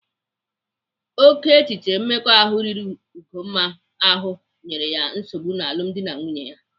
Oke echiche mmekọahụ riri Ugonna ahụ nyere ya nsogbu n'alumdi na nwunye ya.